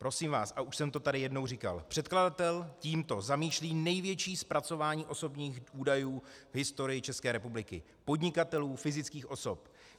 Prosím vás, a už jsem to tady jednou říkal, předkladatel tímto zamýšlí největší zpracování osobních údajů v historii České republiky - podnikatelů, fyzických osob.